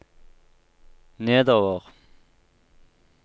nedover